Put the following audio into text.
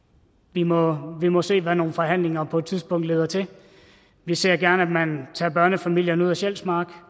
vi må må se hvad nogle forhandlinger på et tidspunkt leder til vi ser gerne at man tager børnefamilierne ud af sjælsmark